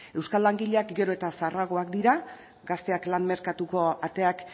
euskal langileak gero eta zaharragoak dira gazteak lan merkatuko ateak